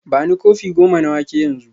Bani kofi goma na wake yanzu